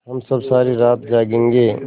हम सब सारी रात जागेंगे